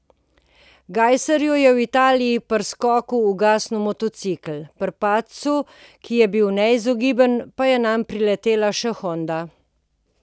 Gajserju je v Italiji pri skoku ugasnil motocikel, pri padcu, ki je bil neizogiben, pa je nanj priletela še honda.